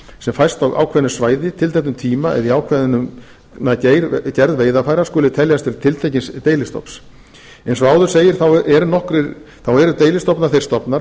sem fæst á ákveðnu svæði tilteknum tíma eða í ákveðna gerð veiðarfæra skuli teljast til tiltekins deilistofns eins og áður segir þá eru deilistofnar þeir stofnar